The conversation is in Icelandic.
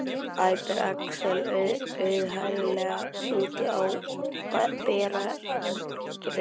æpir Axel, auðheyrilega úti á berangri.